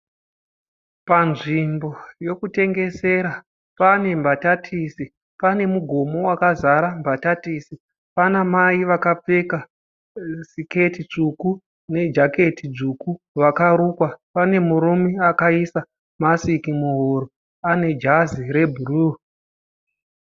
Panzvimbo yokutengesera, pane mbatatisi, panemugomo wakazara mbatatisi. Panamai vakapfeka siketi tsvuku nejaketi dzvuku vakarukwa. Panemurume akaisa masiki muhuro, anejazi rebhuruu.